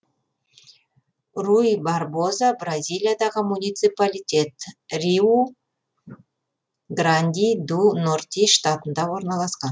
руй барбоза бразилиядағы муниципалитет риу гранди ду норти штатында орналасқан